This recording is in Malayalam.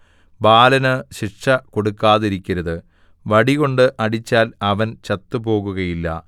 ബാലന് ശിക്ഷ കൊടുക്കാതിരിക്കരുത് വടികൊണ്ട് അടിച്ചാൽ അവൻ ചത്തുപോകുകയില്ല